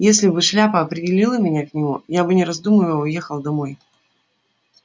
если бы шляпа определила меня к нему я бы не раздумывая уехал домой